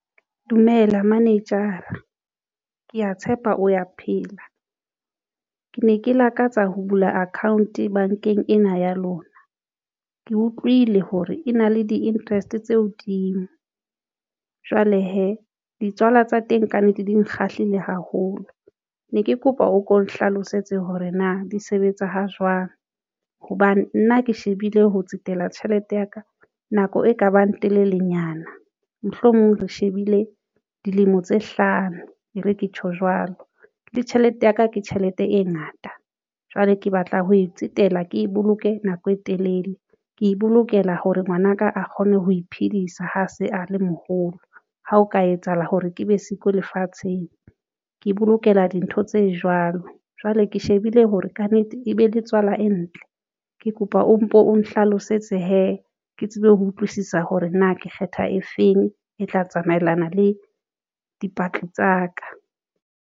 Dumela manejara, ke ya tshepa o ya phela. Ke ne ke lakatsa ho bula account bankeng ena ya lona. Ke utlwile hore e na le di-interest tse hodimo jwale hee ditswala tsa teng ka nnete di nkgahlile haholo ne ke kopa, o ko nhlalosetse hore na di sebetsa ha jwang hobane nna ke shebile. Ho tsetela tjhelete ya ka nako e kabang telelenyana mohlomong re shebile dilemo tse hlano, e re ke tjho jwalo le tjhelete yaka ke tjhelete e ngata. Jwale ke batla ho e tsetela Ke boloke nako e telele. Ke bolokela hore ngwanaka a kgone ho iphedisa. Ha se a le moholo ha o ka etsahala hore ke be siko lefatsheng, ke bolokela dintho tse jwalo jwale ke shebile hore kannete e be le tswala e ntle, ke kopa o mpo o nhlalosetse hee. Ke tsebe ho utlwisisa hore na ke kgetha e feng e tla tsamaelana le dipatli tsa ka.